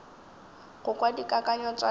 go kwa dikakanyo tša lena